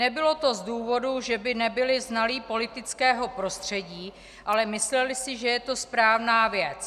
Nebylo to z důvodu, že by nebyli znalí politického prostředí, ale mysleli si, že je to správná věc.